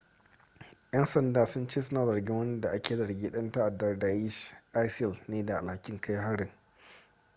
'yan sanda sun ce suna zargin wani da ake zargin dan ta'addar daesh isil ne da alhakin kai harin